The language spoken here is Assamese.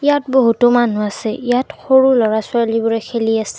ইয়াত বহুতো মানুহ আছে ইয়াত সৰু ল'ৰা-ছোৱালীবোৰে খেলি আছে।